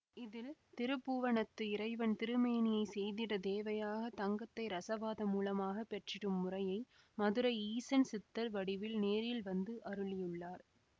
இதில் திருப்பூவணத்து இறைவன் திருமேனியைச் செய்திடத் தேவையாக தங்கத்தை இரசவாதம் மூலமாகப் பெற்றிடும் முறையை மதுரை ஈசன் சித்தர் வடிவில் நேரில் வந்து அருளியுள்ளார்